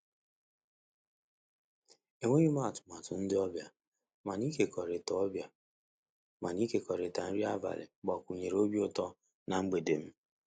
E nweghịm atụmatụ maka ndị ọbịa, mana ịkekọrịta ọbịa, mana ịkekọrịta nri abalị gbakwunyere obi utọ na mgbede m.